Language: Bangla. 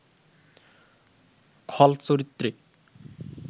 খল চরিত্রে